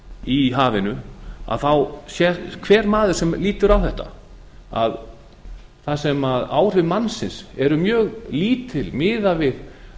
í hafinu þá sér hver maður sem lítur á þetta að þar sem áhrif mannsins eru mjög lítil miðað við